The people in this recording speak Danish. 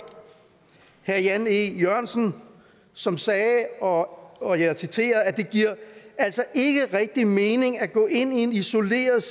herre jan e jørgensen som sagde og og jeg citerer det giver altså ikke rigtig mening at gå ind isoleret